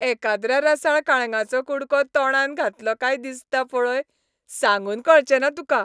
एकाद्र्या रसाळ काळंगाचो कुडको तोंडांत घातलो काय दिसता पळय, सांगून कळचें ना तुका.